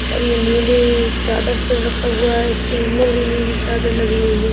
और ये ए नीले चादर पे रखा हुआ है। इस के अंदर भी नीली चादर लगी हुई है।